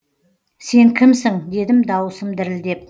сен кімсің дедім дауысым дірілдеп